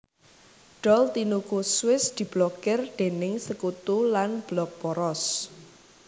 Dol tinuku Swiss diblokir déning Sekutu lan Blok Poros